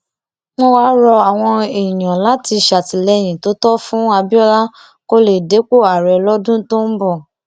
wọn wáá rọ àwọn èèyàn láti ṣàtìlẹyìn tó tọ fún abiola kó lè dépò ààrẹ lọdún tó ń bọ